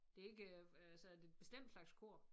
Det ikke øh altså er det et bestemt slags kor?